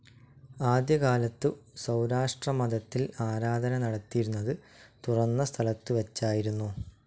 ആദ്യകാലത്തു സൗരാഷ്ട്രമതത്തിൽ ആരാധന നടത്തിയിരുന്നത് തുറന്ന സ്ഥലത്തു വച്ചായിരുന്നു.